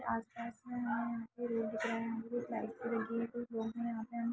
आस पास में हमें ये रोड दिख रहे --